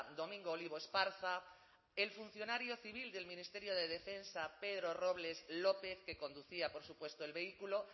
domingo olivo esparza el funcionario civil del ministerio de defensa pedro robles lópez que conducía por supuesto el vehículo